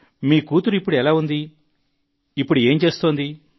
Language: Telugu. మీ కూతురు ఇప్పుడు ఎలా ఉంది ఈ రోజుల్లో ఏం చేస్తోంది